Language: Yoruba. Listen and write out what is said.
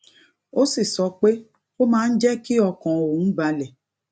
ó sì sọ pé ó máa ń jé kí ọkàn òun balè